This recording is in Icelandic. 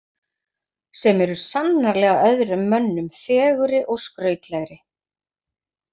Sem eru sannarlega öðrum mönnum fegurri og skrautlegri.